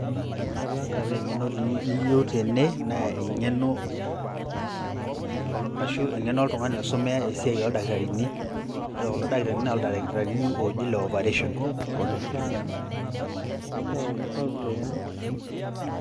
Ore eng`eno niyieu tene naa eng`eno arashu eng`eno oltung`ani oisumiya esiai oo ildakitarini. Ore kulo dakitarini naa ildakitarini ooji le operation.